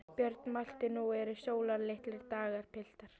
Björn mælti: Nú eru sólarlitlir dagar, piltar!